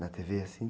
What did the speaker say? Na tê-vê, assim?